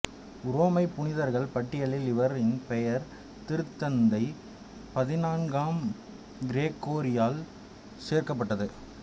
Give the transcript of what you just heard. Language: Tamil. உரோமை புனிதர்கள் பட்டியலில் இவரின் பெயர் திருத்தந்தை பதினான்காம் கிரகோரியால் சேர்க்கப்பட்டது